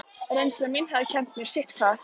Reynsla mín hafði kennt mér sitthvað.